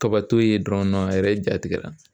Kabato yen dɔrɔn a yɛrɛ jatigɛra